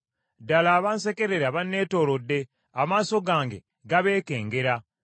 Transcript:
Ddala abansekerera bannetoolodde; amaaso gange gabeekengera.